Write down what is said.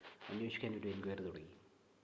അന്വേഷിക്കാൻ ഒരു എൻക്വയറി തുടങ്ങി